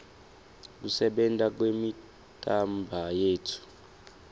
kusebenta kwemitimbayetfu